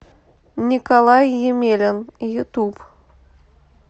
николай емелин ютуб